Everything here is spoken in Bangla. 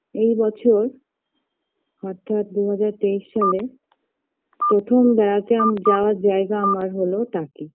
এই বছর অর্থাৎ দু হাজার তেইস সালে প্রথম বেড়াতে আমি যাওয়ার জায়গা আমার হল টাকি